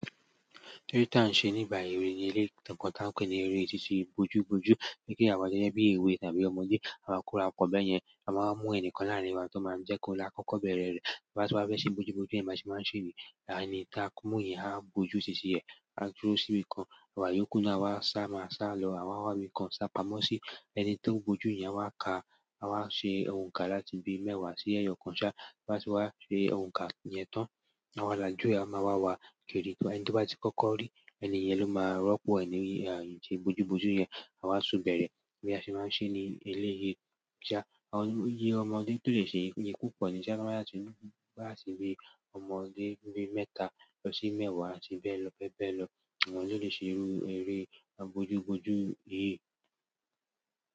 Eré tí a ń ṣe nígbà ewé ni ere kan tí a ń pè ní eré síṣe bojúbojú kí kí àwa jẹ́ bíi ewé tàbí ọmọdé àwa kóra pọ̀ bẹ́ẹ̀ yẹn à máa ń mú ẹnìkan láàrín wa tó máa ń jẹ́ ko la kọ́kọ́ bẹ̀rẹ̀ rẹ̀ ba wá tí wá bá ṣe bojúbojú yẹn bá ṣe máa ń ṣe ẹni ta kúnmúyìn há bojú títí ẹ a dúró sí ibìkan àwa yókù náà wá sá máa sá lọ àwa wá ibìkan sá pamọ́ sí ẹni tí ó bojú yẹn wá ka a wá ṣe òǹkà láti bi mẹ́wàá sí ẹyọ kan sá toba ti wá ṣe òǹkà yẹn tán àwa làjú a máa wá wá kiri tó ẹni tí o bá ti kọ́kọ́ rí ẹni yẹn ló máa rọ́pò ẹ́. Ẹnì yẹn ṣe bojúbojú yẹn àwa tun bẹ̀rẹ̀ bí a ṣe máa ń ṣe ní eleyi sa iyè ọmọdé tó lè ṣe yìí yí púpọ̀ ní sá bá máa ṣe bí a ṣe gbé ọmọdé bí mẹ́ta lọ sí mẹ́wàá àti bẹ́ẹ̀ lọ bẹ́ẹ̀ bẹ́ẹ̀ lọ ọmọdé lè ṣe rú eré bojúbojú yìí.